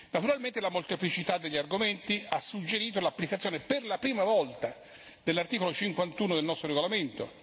Probabilmente, la molteplicità degli argomenti ha suggerito l'applicazione, per la prima volta, dell'articolo 51 del nostro regolamento.